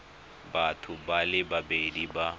batho ba le babedi ba